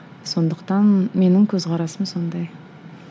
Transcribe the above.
сондықтан менің көзқарасым сондай